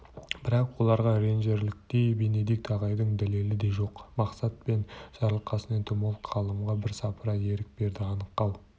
бірақ оларға ренжірліктей бенедикт ағайдың дәлелі де жоқ мақсат пен жарылқасын энтомолог-ғалымға бірсыпыра ерік берді аңқау